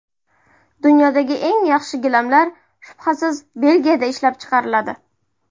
Dunyodagi eng yaxshi gilamlar shubhasiz Belgiyada ishlab chiqariladi.